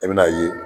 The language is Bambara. I bɛn'a ye